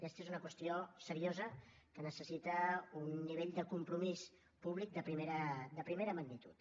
aquesta és una qüestió seriosa que necessita un nivell de compromís públic de primera magnitud